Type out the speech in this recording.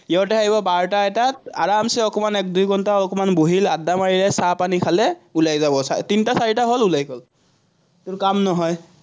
সিহঁতে আহিব বাৰটা-এটাত, আৰামচে অকণমান এক দুই ঘন্টা আকণমান বহিল, আদ্দা মাৰিলে, চাহপানী খালে, ওলাই যাব, তিনটা-চাৰিটা হল, ওলাই গল। তোৰ কাম নহয়।